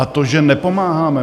A to, že nepomáháme.